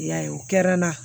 I y'a ye o kɛra n na